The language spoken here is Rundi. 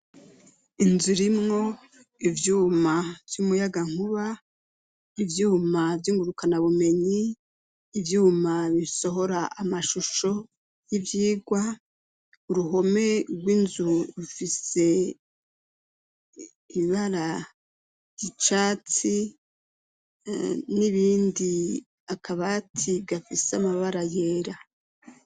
Inzu rimwo ivyuma vy'umuyagankuba, ivyuma vy'ingurukanabumenyi, ivyuma bisohora amashusho y'ivyigwa, uruhome rw'inzu rufise ibara ry'icatsi n'ibindi, akabati gafise amabara yera.